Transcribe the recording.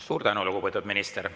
Suur tänu, lugupeetud minister!